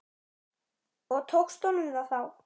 Og tókst honum það þá?